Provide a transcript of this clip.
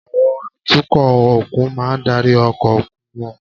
Àwọn atukọ̀ òkun máa ń darí ọkọ̀ òkun wọn